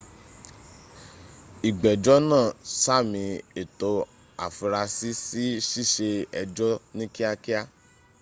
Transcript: ìgbẹ́jọ́ náa sàmí ẹ̀tọ́ afurasí sí ṣíṣe ęjọ́ ní kíá kíá